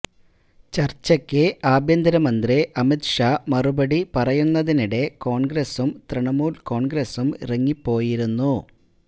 ചർച്ചയ്ക്ക് ആഭ്യന്തര മന്ത്രി അമിത് ഷാ മറുപടി പറയുന്നതിനിടെ കോൺഗ്രസും തൃണമൂൽ കോൺഗ്രസും ഇറങ്ങിപ്പോയിരുന്നു